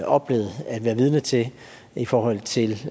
oplevet at have været vidner til i forhold til